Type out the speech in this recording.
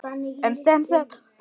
En stenst þetta?